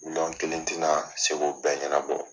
Miliyɔn kelen ti na se ko bɛɛ ɲɛnabɔ.